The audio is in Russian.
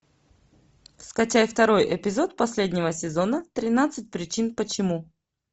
скачай второй эпизод последнего сезона тринадцать причин почему